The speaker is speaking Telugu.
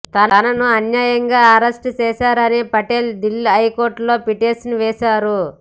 తనను అన్యాయంగా అరెస్టు చేశారని పటేల్ దిల్లీ హైకోర్టులో పిటిషన్ వేశారు